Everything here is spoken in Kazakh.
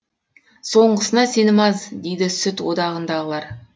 соңғысына сенім аз дейді сүт одағындағылар